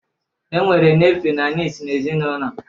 E nwere nefiu na niis n'ezinaụlọ